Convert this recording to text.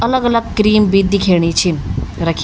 अलग अलग क्रीम भी दिखेणी छिन रखीं।